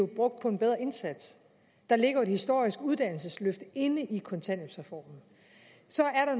brugt på en bedre indsats der ligger jo et historisk uddannelsesløft i kontanthjælpsreformen så er